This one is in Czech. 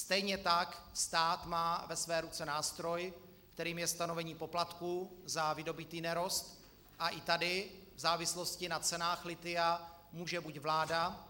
Stejně tak stát má ve své ruce nástroj, kterým je stanovení poplatků za vydobytý nerost, a i tady v závislosti na cenách lithia může buď vláda,